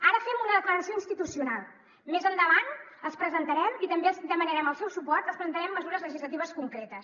ara fem una declaració institucional més endavant els presentarem i també els hi demanarem el seu suport mesures legislatives concretes